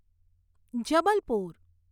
Jabalpur